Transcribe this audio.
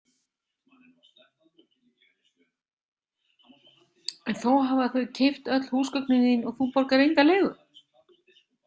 En þó hafa þau keypt öll húsgögnin þín og þú borgar enga leigu?